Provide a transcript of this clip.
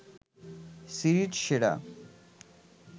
series সেরা